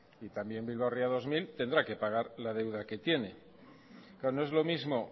y también bilbao ría dos mil tendrá que pagar la deuda que tiene no es lo mismo